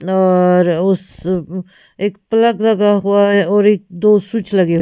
और अ उस उम एक प्लग लगा हुआ है और एक दो स्विच लगे--